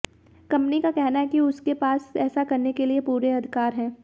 company का कहना है कि उसके पास ऐसा करने के लिए पूरे अधिकार हैं